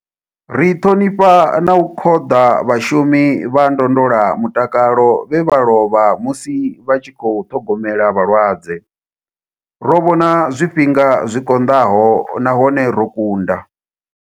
Ri ṱhonifha na u khoḓa vhashumi vha ndondola mutakalo vhe vha lovha musi vha tshi khou ṱhogomela vhalwadze. Ro vhona zwifhinga zwi konḓaho nahone ro kunda.